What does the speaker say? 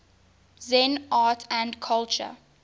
zen art and culture